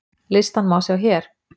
Listann má sjá hér